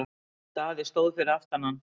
Daði stóð fyrir aftan hann.